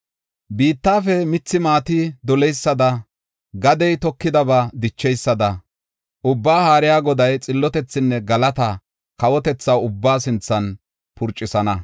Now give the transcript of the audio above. Biittafe mithi maati doleysada, gadey tokidaba dicheysada, Ubbaa Haariya Goday xillotethinne galata kawotetha ubbaa sinthan purcisana.